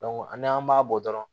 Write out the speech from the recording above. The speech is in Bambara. n'an b'a bɔ dɔrɔn